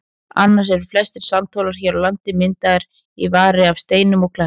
Annars eru flestir sandhólar hér á landi myndaðir í vari af steinum og klettum.